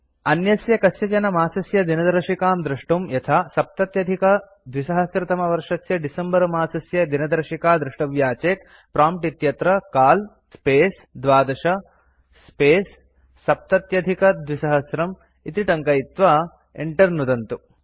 अन्यस्य कस्यचन मासस्य दिनदर्शिकां द्रष्टुं यथा २०७० तमवर्षस्य डिसेम्बर मासस्य दिनदर्शिका द्रष्टव्या चेत् प्रॉम्प्ट् इत्यत्र काल स्पेस् 12 स्पेस् 2070 इति टङ्कयित्वा enter नुदन्तु